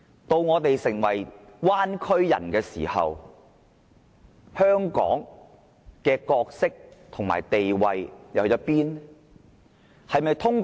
當我們成為"灣區人"時，香港的角色和地位會變成怎樣？